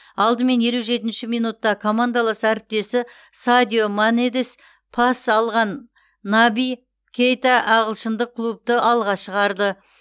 алдымен елу жетінші минутта командалас әріптесі садио манеден пас алған наби кейта ағылшындық клубты алға шығарды